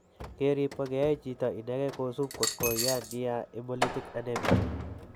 Keriip ko keyaae chito ineke kosup kot ko yaa nia hemolytic anemia.